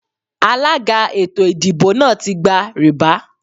Alága ètò ìdìbò náà ti gba rìbá.